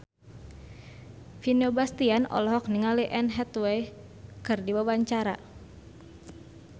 Vino Bastian olohok ningali Anne Hathaway keur diwawancara